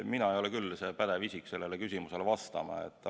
Mina ei ole küll pädev isik sellele küsimusele vastama.